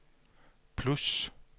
plus